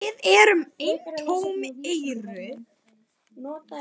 Við erum eintóm EYRU!